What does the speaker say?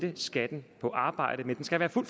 i skat